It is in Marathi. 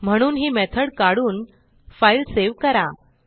म्हणून ही मेथड काढून फाईल सेव्ह करा